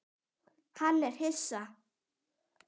Hann er hissa.